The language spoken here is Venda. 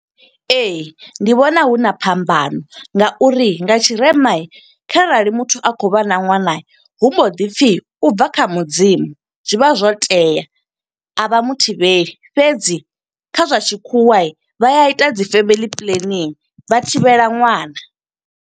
Ee, ndi vhona huna phambano nga uri nga tshirema kharali muthu a khou vha na ṅwana, hu mbo ḓi pfi ubva kha mudzimu. Zwi vha zwo tea, a vha muthivheli fhedzi kha zwa tshikhuwa, vha ya ita dzi family planning vha thivhela ṅwana.